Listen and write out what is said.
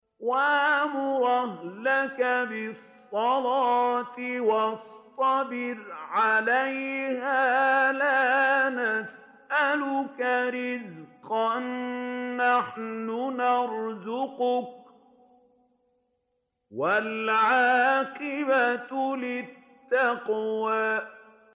وَأْمُرْ أَهْلَكَ بِالصَّلَاةِ وَاصْطَبِرْ عَلَيْهَا ۖ لَا نَسْأَلُكَ رِزْقًا ۖ نَّحْنُ نَرْزُقُكَ ۗ وَالْعَاقِبَةُ لِلتَّقْوَىٰ